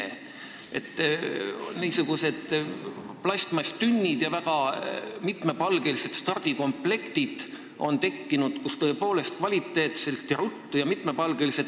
On tekkinud niisugused plastmasstünnid ja väga mitmesugused stardikomplektid, mille abil saab ruttu teha erinevat kvaliteetset õlut.